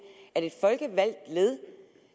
et folkevalgt led